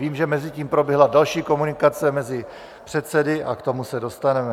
Vím, že mezitím proběhla další komunikace mezi předsedy, a k tomu se dostaneme.